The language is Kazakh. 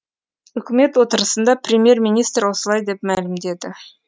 үкімет отырысында премьер министр осылай деп мәлімдеді